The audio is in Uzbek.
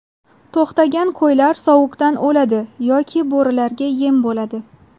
To‘xtagan qo‘ylar sovuqdan o‘ladi yoki bo‘rilarga yem bo‘ladi.